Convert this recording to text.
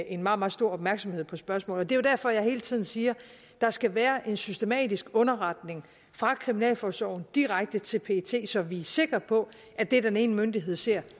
en meget meget stor opmærksomhed på spørgsmålet jo derfor jeg hele tiden siger der skal være en systematisk underretning fra kriminalforsorgen direkte til pet så vi er sikre på at det den ene myndighed ser